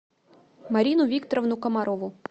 марину викторовну комарову